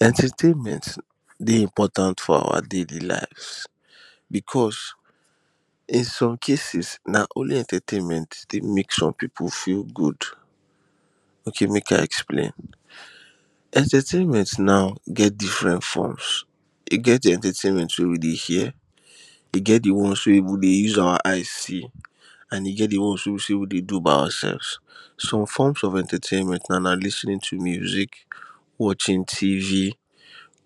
entertainment dey important for our daily lives because in some cases na only entertainment take make some people feel good. okay make i explain entertainment na, get diffrent froms, e get entertainment wey we dey hear, e get the one we dey use our eyes see an e get the one wey be sey we dey do by oursefs. some forms of entertainment na like lis ten ing to music watching TV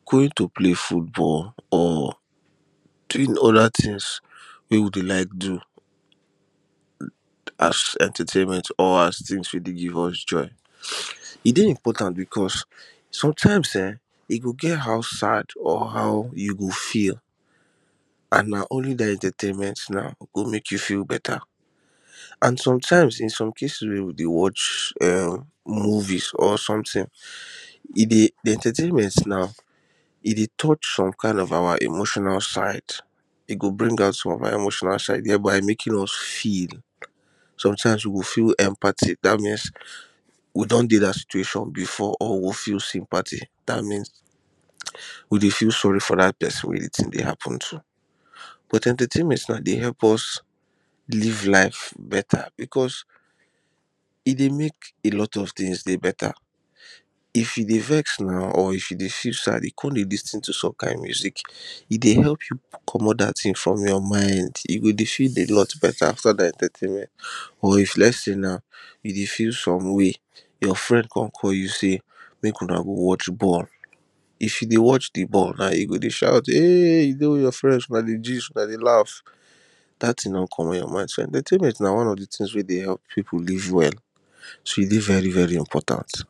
going to play football or doing other things wey we dey like do as entertainment or as things we dey give us joy. e dey important because sometimes eh, e go get how sad or how e go feel an na only that entertainment go make you feel beta an some times in some cases wey we dey erm watch movie or soemthing e dey entertainment na e dey touch some kind of our emotional side e go bring out some of our emotional side thereby making us feel sometimes we go feel empathy that means we don dey that situation before or we feel sympathy that means we dey feel sorry to that person wey the thing dey happen to but entertainment sha dey help us live life beta because e dey make a lot of things dey beta if you dey vex or if you dey feel sad e come dey listin to some kind music e dey help you comot that thing from your mind e go feel alot better after that entertaiment or flexing na, e dey feel some way your friend come call you sey make una watch ball if you dey watch the ball and you go dey shout eeh dey with your friends dey gist una dey laugh that thing don comot your mind. entertainment na one of the things wey dey help people live well. so e dey very very important